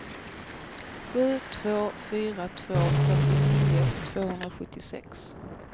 sju två fyra två fyrtionio tvåhundrasjuttiosex